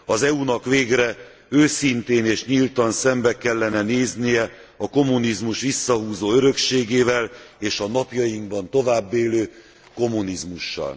Az EU nak végre őszintén és nyíltan szembe kellene néznie a kommunizmus visszahúzó örökségével és a napjainkban továbbélő kommunizmussal.